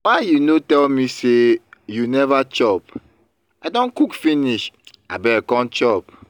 why you no tell me say you never chop. i don cook finish abeg come chop